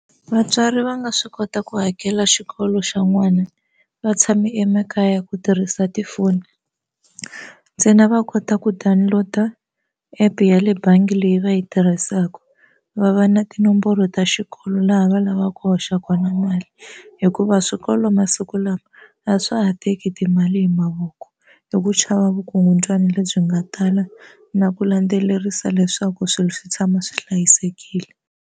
Vatswari va nga swi kota ku hakela xikolo xa n'wana va tshame emakaya ku tirhisa tifoni ntsena va kota ku download-a app ya le bangi leyi va yi tirhisaka va va na tinomboro ta xikolo laha va lavaka ku hoxaka na mali hikuva swikolo masiku lama a swa ha teki timali hi mavoko hi ku chava vukungundzwani lebyi nga tala na ku landzelerisa leswaku swilo swi tshama swi hlayisekile.